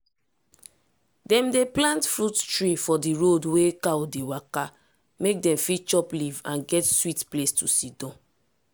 dem dey plant fruit tree for di road wey cow dey take waka mek dem fit chop leaf and get sweet place to sidon.